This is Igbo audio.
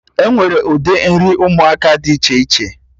Enwere ụdị nri ụmụaka dị iche iche